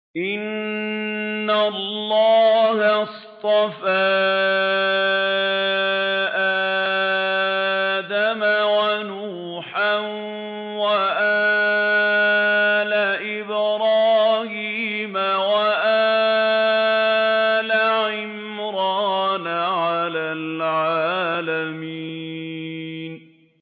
۞ إِنَّ اللَّهَ اصْطَفَىٰ آدَمَ وَنُوحًا وَآلَ إِبْرَاهِيمَ وَآلَ عِمْرَانَ عَلَى الْعَالَمِينَ